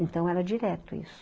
Então, era direto isso.